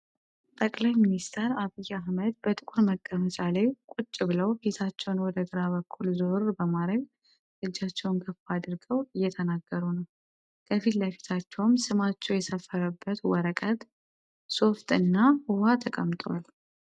ጠቅላይ ሚንስቴር አብይ አህመድ በጥቁር መቀመጫ ላይ ቁጭ ብለው ፊታቸውን ወደ ግራ በኩል ዞር በማረግ እጃቸውን ከፍ አድርገው እየተናገሩ ነው። ከፊት ለፊታቸውም ስማቸው የሰፈረበት ወረቀት፣ ሶፍት እና ዉሃ ተቀምጧል።